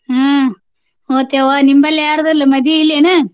ಹ್ಮ್ ಹೋಗ್ತೆಯವ್ವ ನಿಮ್ಮಲ್ಲಿ ಯಾರ್ದು ಇಲ್ಲಾ ಮದವಿ ಇಲ್ಲೇನ?